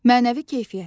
Mənəvi keyfiyyətlər.